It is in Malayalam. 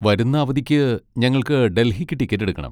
വരുന്ന അവധിക്ക് ഞങ്ങൾക്ക് ഡൽഹിക്ക് ടിക്കറ്റ് എടുക്കണം.